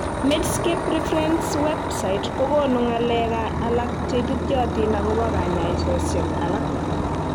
Medscape Reference's Web site kokonu ng'alek alak cheititoyotin agobo kanyaosiek alak